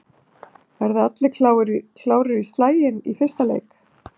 Verða allir klárir í slaginn í fyrsta leik?